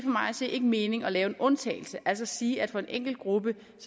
mig at se ikke mening at lave en undtagelse altså at sige at for en enkelt gruppe